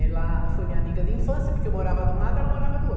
Ela foi minha amiga de infância, porque eu morava de um lado, ela morava do outro.